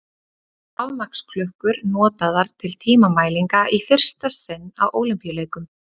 Rafmagnsklukkur notaðar til tímamælinga í fyrsta sinn á Ólympíuleikum.